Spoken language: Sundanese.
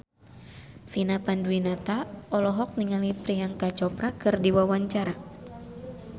Vina Panduwinata olohok ningali Priyanka Chopra keur diwawancara